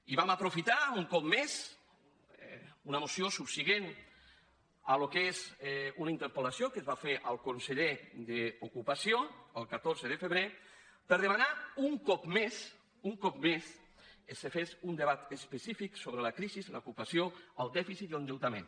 i vam aprofitar un cop més una moció subsegüent al que és una interpel·lació que es va fer al conseller d’ocupació el catorze de febrer per demanar un cop més un cop més que se fes un debat específic sobre la crisi l’ocupació el dèficit i l’endeutament